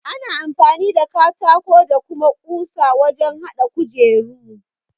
Ana amfani da katako da kuma ƙusa wajen haɗa kujeru.